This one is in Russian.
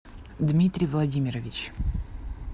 дмитрий владимирович